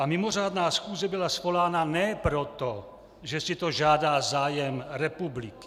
A mimořádná schůze byla svolána ne proto, že si to žádá zájem republiky.